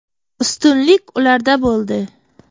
Ustunlik ularda bo‘ldi.